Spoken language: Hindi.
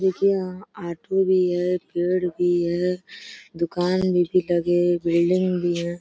देखिये यहाँ ऑटो भी है पेड़ भी है दुकान भी भी लगे बिल्डिंग भी है।